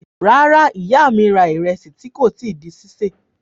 Rárá, ìyá mi ra ìrẹsì tí kò tí di sísè.